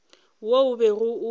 wo o bego o o